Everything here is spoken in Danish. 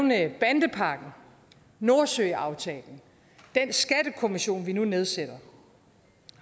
nævnt bandepakken nordsøaftalen den skattekommission vi nu nedsætter